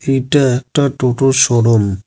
এটা একটা টোটোর শোরুম ।